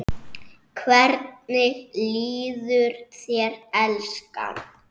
Hvernig líður þér, elskan?